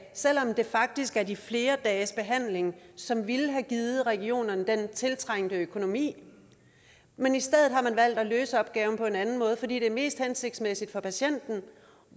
selv om det faktisk er de flere dages behandling som ville have givet regionerne den tiltrængte økonomi men i stedet har man valgt at løse opgaven på en anden måde fordi det er mest hensigtsmæssigt for patienten og